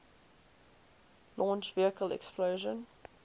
launch vehicle explosion